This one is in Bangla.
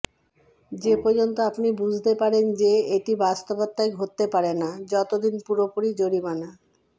যে পর্যন্ত আপনি বুঝতে পারেন যে এটি বাস্তবতায় ঘটতে পারে না যতদিন পুরোপুরি জরিমানা